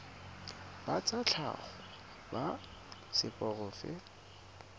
ba tsa tlhago ba seporofe